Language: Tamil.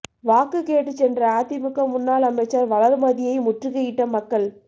வாக்கு கேட்டுச் சென்ற அதிமுக முன்னாள் அமைச்சர் வளர்மதியை முற்றுகையிட்ட மக்கள்